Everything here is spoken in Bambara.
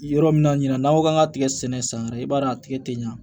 Yɔrɔ min na ɲina n'aw k'an ka tigɛ sɛnɛ san wɛrɛ i b'a ye a tigɛ tɛ ɲa